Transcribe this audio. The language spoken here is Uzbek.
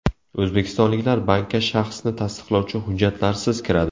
O‘zbekistonliklar bankka shaxsni tasdiqlovchi hujjatlarsiz kiradi.